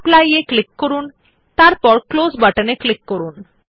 apply এর উপর click করুন এবং তারপর ক্লোজ বাটনে ক্লিক করুন